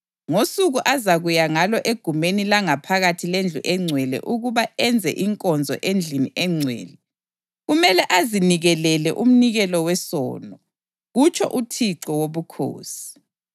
Ngosuku azakuya ngalo egumeni langaphakathi lendlu engcwele ukuba enze inkonzo endlini engcwele, kumele azinikelele umnikelo wesono, kutsho uThixo Wobukhosi.